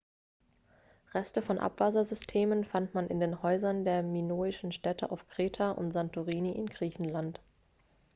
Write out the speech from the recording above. reste von abwassersystemen fand man in den häusern der minoischen städte auf kreta und santorini in griechenland